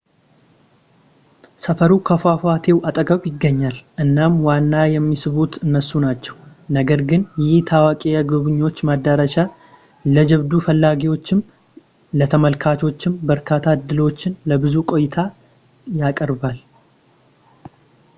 ሰፈሩ ከፏፏቴው አጠገብ ይገኛል እናም ዋና የሚስቡት እነሱ ናቸው ነገር ግን ይህ ታዋቂ የጎብኚዎች መዳረሻ ለጀብዱ ፈላጊዎችም ለተመልካቾችም በርካታ ዕድሎችን ለብዙ ቆይታ ያቀርባል